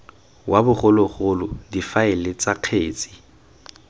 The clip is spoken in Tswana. wa bogologolo difaele tsa kgetse